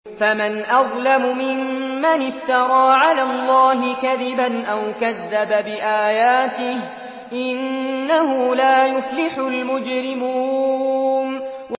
فَمَنْ أَظْلَمُ مِمَّنِ افْتَرَىٰ عَلَى اللَّهِ كَذِبًا أَوْ كَذَّبَ بِآيَاتِهِ ۚ إِنَّهُ لَا يُفْلِحُ الْمُجْرِمُونَ